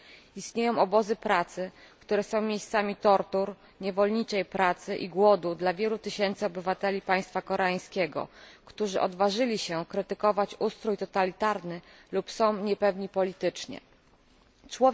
Istnieją obozy pracy, które są miejscami tortur, niewolniczej pracy i głodu dla wielu tysięcy obywateli państwa koreańskiego, którzy odważyli się krytykować ustrój totalitarny albo są politycznie niepewni.